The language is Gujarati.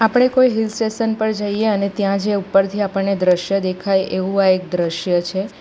આપણે કોઈ હિલ સ્ટેસન પર જઈએ અને ત્યાં જે ઉપરથી આપણને દ્રશ્ય દેખાય એવું આ એક દ્રશ્ય છે.